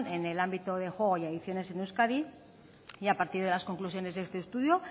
en el ámbito de juego y adicciones en euskadi y a partir de las conclusiones de este estudio